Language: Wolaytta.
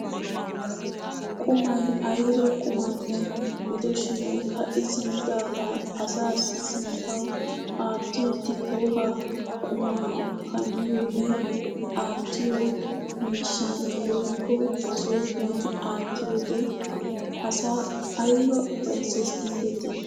Qumay ayba qumanne gidoshin ka'i simmidagaa asaassi sinttawu aattiidi wogaa qumaa kamiyoonne aattiyoo miishan woykko masoofiyaan aattiyoode asaa ayba ufayssees gidetii!